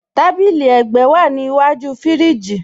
Tàbílí ègbẹ́ wa ní ìwájú fíríjì.